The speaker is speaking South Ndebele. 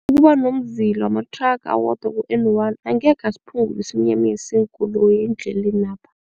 Ukuba nomzila wamathraga owodwa ku-N one angekhe asiphungula isiminyaminya seenkoloyi endlelena.